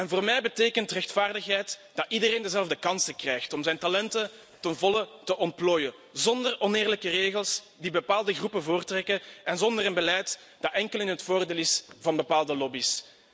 Voor mij betekent rechtvaardigheid dat iedereen dezelfde kansen krijgt om zijn talenten ten volle te ontplooien, zonder oneerlijke regels die bepaalde groepen voortrekken, en zonder een beleid dat alleen in het voordeel is van bepaalde lobby's.